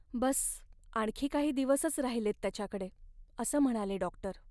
बस्स आणखी काही दिवसच राहिलेत त्याच्याकडे, असं म्हणाले डॉक्टर.